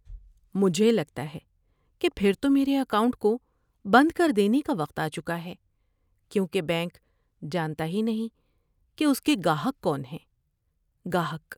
مجھے لگتا ہے کہ پھر تو میرے اکاؤنٹ کو بند کر دینے کا وقت آچکا ہے کیونکہ بینک جانتا ہی نہیں کہ اس کے گاہک کون ہیں۔ (گاہک)